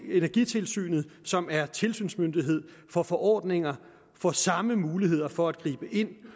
energitilsynet som er tilsynsmyndighed får forordninger og samme muligheder for at gribe ind